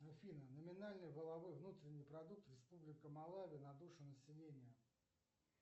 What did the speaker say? афина номинальный валовой внутренний продукт республика малави на душу населения